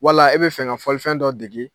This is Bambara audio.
Wala e bɛ fɛ ka fɔlifɛn dɔ dege.